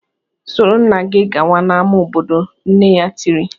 "Soro nna gị gawa n'ámá obodo!" nne ya tiri